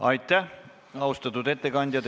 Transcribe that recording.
Aitäh, austatud ettekandja!